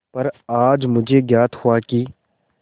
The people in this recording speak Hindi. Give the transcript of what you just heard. पर आज मुझे ज्ञात हुआ कि